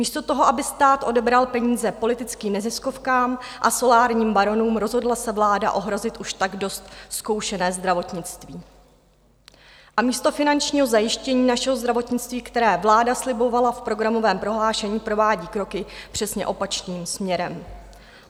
Místo toho, aby stát odebral peníze politickým neziskovkám a solárním baronům, rozhodla se vláda ohrozit už tak dost zkoušené zdravotnictví a místo finančního zajištění našeho zdravotnictví, které vláda slibovala v programovém prohlášení, provádí kroky přesně opačným směrem.